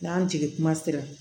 N'an jigi kuma sera